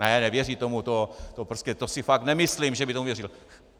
Ne, nevěří tomu, to si fakt nemyslím, že by tomu věřil.